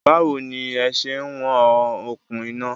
Báwo ní ẹ se ń wọn okùn iná?